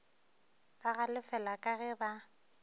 ba galefela ka ge ba